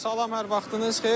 Salam hər vaxtınız xeyir.